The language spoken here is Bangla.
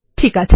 ঠিক আছে